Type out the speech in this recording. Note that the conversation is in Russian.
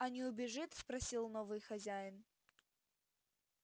а не убежит спросил новый хозяин